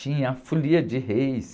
Tinha a folia de reis.